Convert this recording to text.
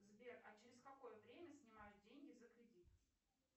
сбер а через какое время снимают деньги за кредит